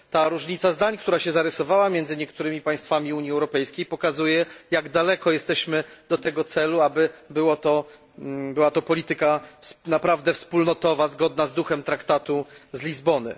Ta różnica zdań, która się zarysowała między niektórymi państwami Unii Europejskiej, pokazuje jak daleko jesteśmy od tego celu, aby była to polityka naprawdę wspólnotowa, zgodna z duchem Traktatu z Lizbony.